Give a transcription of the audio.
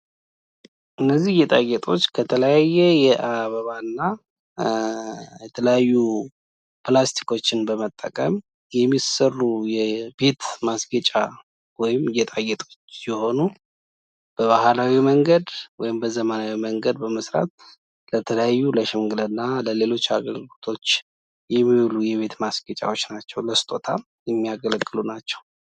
እነዚህ ጌጣጌጦች ከተለያየ የአበባና የተለያዩ ፕላስቲክዎችን በመጠቀም የሚሰሩ የቤት ማስጊጫ ወይም ጌጣጌጦች ሲሆኑ በባህላዊ መንገድ ወይም በዘመናዊ መንገድ በመስራት ለተለያዩ ለሽምግልና ለሌሎች አገልግሎቶች የሚውሉ የቤት ማስጊጫ የሚያገለግሉ ናቸው። እንዲሁምለስጦታ የሚያገለግሉ።